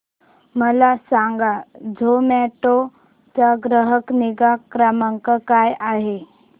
मला सांगा झोमॅटो चा ग्राहक निगा क्रमांक काय आहे